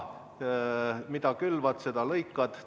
Mida külvad, seda lõikad.